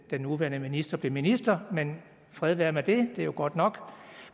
den nuværende minister blev minister men fred være med det det er jo godt nok